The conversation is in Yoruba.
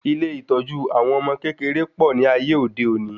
Ilé ìtọ́jú àwọn ọmọ kékeré pọ̀ ní ayé òde òní